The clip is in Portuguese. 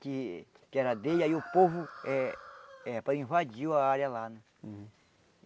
que que era dele, aí o povo eh eh para invadiu a área lá. Hum